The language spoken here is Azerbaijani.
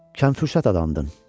Kənd quzatı adamdın.